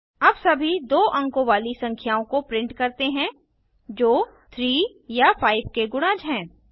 अब सभी 2 अंकों वाली संख्याओं को प्रिंट करते हैं जो 3 या 5 के गुणज हैं